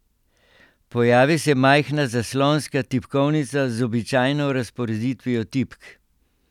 Pojavi se majhna zaslonska tipkovnica z običajno razporeditvijo tipk.